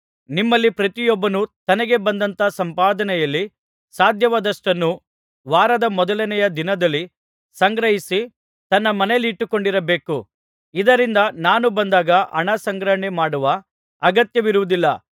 ನಿಮ್ಮಲ್ಲಿ ಪ್ರತಿಯೊಬ್ಬನು ತನಗೆ ಬಂದಂಥ ಸಂಪಾದನೆಯಲ್ಲಿ ಸಾಧ್ಯವಾದಷ್ಟನ್ನು ವಾರದ ಮೊದಲನೆಯ ದಿನದಲ್ಲಿ ಸಂಗ್ರಹಿಸಿ ತನ್ನ ಮನೆಯಲ್ಲಿಟ್ಟುಕೊಂಡಿರಬೇಕು ಇದರಿಂದ ನಾನು ಬಂದಾಗ ಹಣ ಸಂಗ್ರಹಣೆ ಮಾಡುವ ಅಗತ್ಯವಿರುವುದಿಲ್ಲ